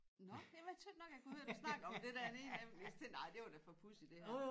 Nåh men jeg tøt nok jeg kunne høre dig snakke om det dernede jeg jeg tænkte nej det var da for pudsigt det her